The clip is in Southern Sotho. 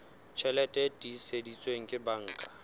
tjheke e tiiseditsweng ke banka